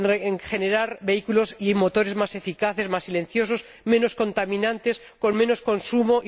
en la generación de vehículos y motores más eficaces, más silenciosos, menos contaminantes, con menos consumo.